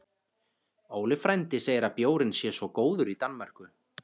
Óli frændi segir að bjórinn sé svo góður í Danmörku